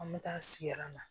An bɛ taa siran na